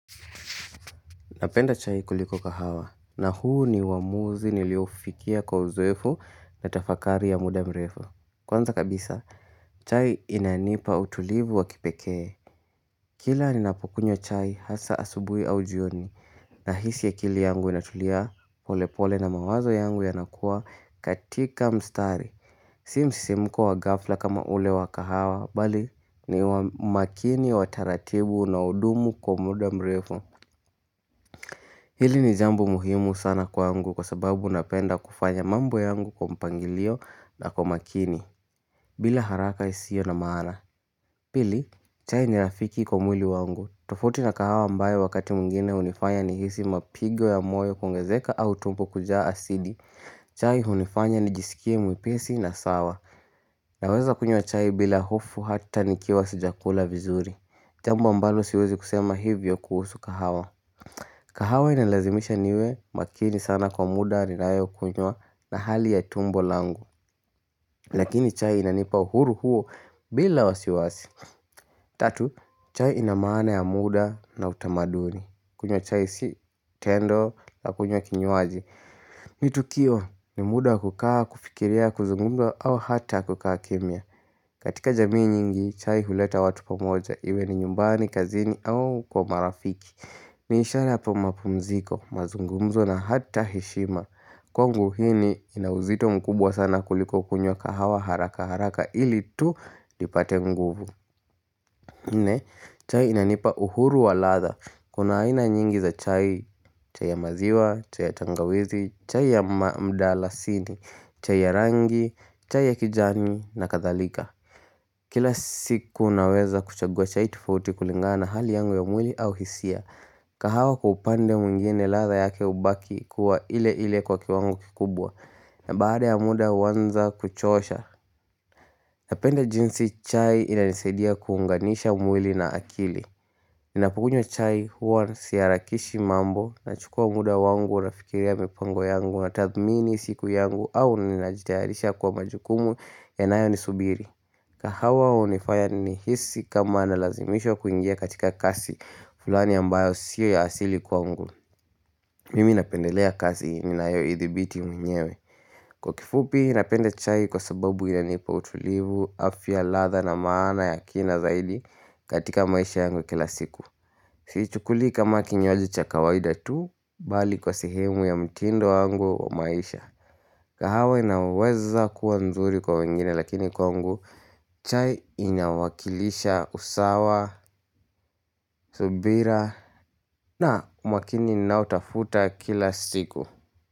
Napenda chai kuliko kahawa na huu ni uamuzi nilioufikia kwa uzoefu na tafakari ya muda mrefu. Kwanza kabisa, chai inanipa utulivu wa kipekee. Kila ninapokunywa chai hasa asubuhi au jioni nahisi akili yangu inatulia polepole na mawazo yangu yanakuwa katika mstari. Si msisimko wa ghafla kama ule wa kahawa, bali ni makini wa taratibu na unaodumu kwa muda mrefu. Hili ni jambo muhimu sana kwangu kwa sababu napenda kufanya mambo yangu kwa mpangilio na kwa makini bila haraka isiyo na maana Pili, chai ni rafiki kwa mwili wangu. Tofauti na kahawa ambayo wakati mwengine hunifanya nihisi mapigo ya moyo kuongezeka au tumbo kujaa asidi chai hunifanya nijisikie mwepesi na sawa Naweza kunywa chai bila hofu hata nikiwa sijakula vizuri Jambo ambalo siwezi kusema hivyo kuhusu kahawa kahawa inalazimisha niwe makini sana kwa muda ninayokunywa na hali ya tumbo langu. Lakini chai inanipa uhuru huo bila wasiwasi. Tatu, chai ina maana ya muda na utamaduni. Kunywa chai si tendo la kunywa kinywaji. Ni tukio ni muda wa kukaa, kufikiria, kuzungumza au hata kukaa kimya. Katika jamii nyingi, chai huleta watu pamoja. Iwe ni nyumbani, kazini au kwa marafiki. Ni ishara hapa mapumziko. Mazungumzo na hata heshima. Kwangu hii ni ina uzito mkubwa sana kuliko kunywa kahawa haraka haraka ili tu nipate nguvu. Nne, chai inanipa uhuru wa ladha. Kuna aina nyingi za chai, chai ya maziwa, chai ya tangawizi, chai ya mdalasini, chai ya rangi, chai ya kijani na kadhalika. Kila siku naweza kuchagua chai tofauti kulingana na hali yangu ya mwili au hisia. Kahawa kwa upande mwengine ladha yake hubaki kuwa ile ile kwa kiwango kikubwa na baada ya muda huanza kuchosha Napenda jinsi chai inanisaidia kuunganisha mwili na akili Ninapukunywa chai huwa siharakishi mambo. Nachukua muda wangu nafikiria mipango yangu na tathmini siku yangu au ninajitayarisha kwa majukumu yanayonisubiri kahawa hunifaya nihisi kama nalazimishwa kuingia katika kasi fulani ambayo siyo ya asili kwangu Mimi napendelea kazi ninayoidhibiti mwenyewe Kwa kifupi napenda chai kwa sababu inanipa utulivu afya ladha na maana ya kina zaidi katika maisha yangu ya kila siku Siichukulii kama kinywaji cha kawaida tu bali kwa sehemu ya mtindo wangu wa maisha kahawa inaweza kuwa nzuri kwa wengine lakini kwangu chai inawakilisha usawa, subira na mwakini ninaotafuta kila siku.